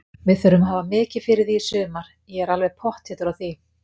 Við þurfum að hafa mikið fyrir því í sumar, ég er alveg pottþéttur á því.